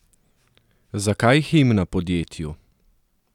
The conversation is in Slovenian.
Zakaj himna podjetju?